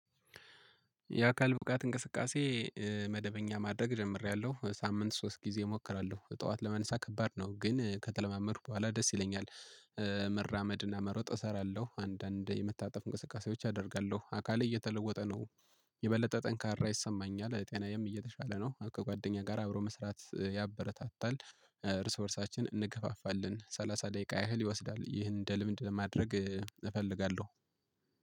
የአካል ብቃት እንቅስቃሴ መደበኛ ማድረግ ጀምሬያለሁ ሳምንት ሶስት ጊዜ እሞክራለሁ ጠዋት ለመነሳት ከባድ ነው ግን ከተለማመድኩ በኋላ ደስ ይለኛል። መራመድና መሮጥ እሰራለሁ አንዳንዴ የመታጠፍ እንቅስቃሴዎች አደርጋለሁ አካሌ እየተለወጠ ነው። የበለጠ ጠንካራ ይሰማኛል ጤናዬም እየተሻለ ነው ከጓደኛ ጋር አብሮ መስራት ያበረታታል። እርስ በርሳችን እንገፋፋለን ሰላሳ ደቂቃ ያህል ይወስዳል ይህን እንደ ልምድ ለማድረግ እፈልጋለሁ።